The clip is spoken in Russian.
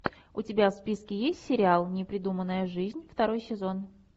у тебя в списке есть сериал непридуманная жизнь второй сезон